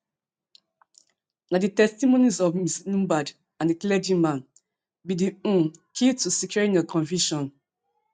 na di testimonies of ms lombard and di clergyman be be di um key to securing a conviction